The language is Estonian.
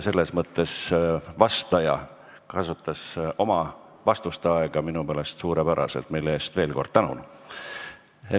Vastaja kasutas oma aega minu meelest suurepäraselt, mille eest veel kord tänu.